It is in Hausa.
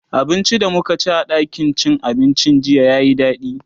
abincin da mukaci a ɗakin cin abincin jiya yayi daɗi